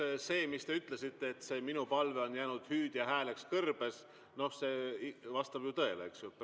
Eks see, mis te ütlesite, et minu palve on jäänud hüüdjaks hääleks kõrbes, noh, see vastab praegu ju tõele, eks ju.